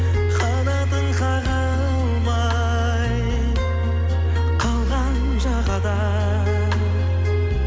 қанатын қаға алмай қалған жағада